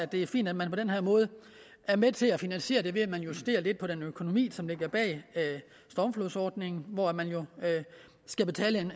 det er fint at man på den her måde er med til at finansiere det ved at der justeres lidt på den økonomi som ligger bag stormflodsordningen hvor man jo skal betale